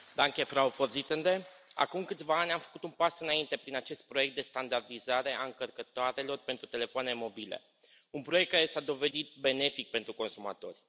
Doamnă președintă, acum câțiva ani, am făcut un pas înainte prin acest proiect de standardizare a încărcătoarelor pentru telefoane mobile un proiect care s a dovedit benefic pentru consumatori.